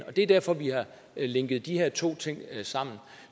og det er derfor vi har linket de her to ting sammen